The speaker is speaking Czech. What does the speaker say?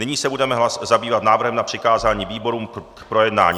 Nyní se budeme zabývat návrhem na přikázání výborům k projednání.